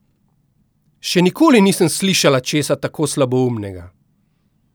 Še nikoli nisem slišala česa tako slaboumnega!